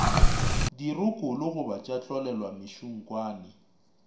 dirokolo goba tša tlolelwa mešunkwane